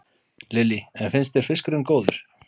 Lillý: En finnst þér fiskurinn góður?